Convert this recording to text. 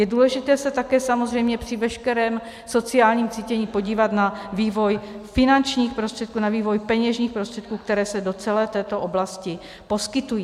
Je důležité se také samozřejmě při veškerém sociálním cítění podívat na vývoj finančních prostředků, na vývoj peněžních prostředků, které se do celé této oblasti poskytují.